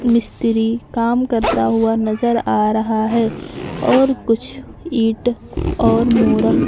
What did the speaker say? मिस्त्री काम करता हुआ नजर आ रहा हैं और कुछ ईंट और मोरंग --